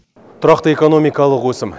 тұрақты экономикалық өсім